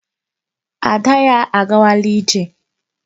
Ada ya agawala ije.